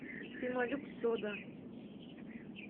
пемолюкс сода